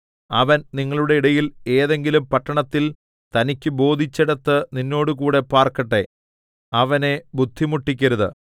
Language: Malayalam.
അവൻ നിങ്ങളുടെ ഇടയിൽ ഏതെങ്കിലും പട്ടണത്തിൽ തനിക്കു ബോധിച്ചിടത്ത് നിന്നോടുകൂടെ പാർക്കട്ടെ അവനെ ബുദ്ധിമുട്ടിക്കരുത്